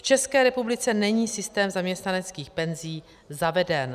V České republice není systém zaměstnaneckých penzí zaveden.